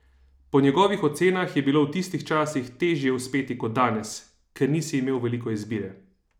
Po njegovih ocenah je bilo v tistih časih težje uspeti kot danes: "Ker nisi imel veliko izbire.